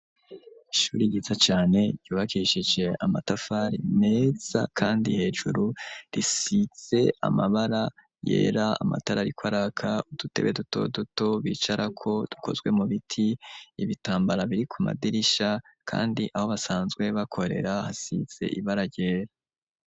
Ishuri yiza cane ryubakishije amatafari meza kandi hejuru risize amabara yera, amatara ariko araka udutebe duto duto, bicarako dukozwe mu biti ,ibitambara biri ku madirisha ,kandi aho basanzwe bakorera hasize ibara ryera.